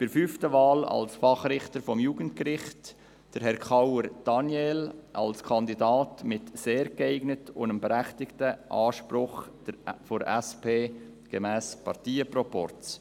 Bei der fünften Wahl als Fachrichter für das Jugendgericht unterstützen wir Herrn Daniel Kauer als Kandidaten mit «sehr geeignet» und dem berechtigten Anspruch der SP gemäss Parteienproporz.